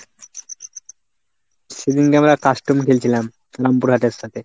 সেদিনকে আমরা custom খেলছিলাম রামপুরহাটের সাথে।